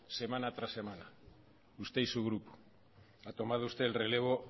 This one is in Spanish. semana tras semana usted y su grupo ha tomado usted el relevo